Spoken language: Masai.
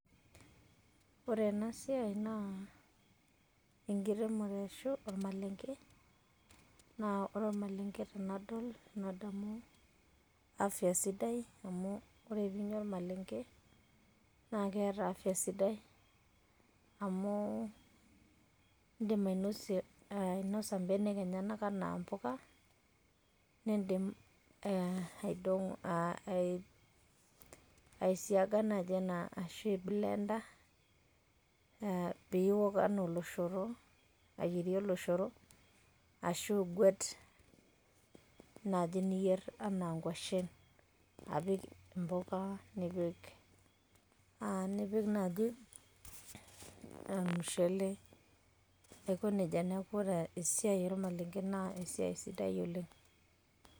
Ore ena siaai naa enkiremore ashu olmalenge naa ore olmalenge tenadol nadamuu afya sidai amuu ore tiniinya olmalenge naa keeta afya sidai amu iindim ainosa imbenek enyenya naa mbuka, niindim aishigana teina ashu blender peyie iok enaa oloshoro aiyere oloshoro asho aguet enaaji niyerr enaa inkoshen apik imbuka nipik naaji ilmushele aikoneja neaku ore esiaai olmalenge nee esiaai sidai oleng'